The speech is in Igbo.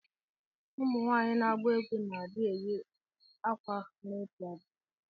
Ụmụnwanyi na agba egwu na adi eyi akwa nwere otụ agwa.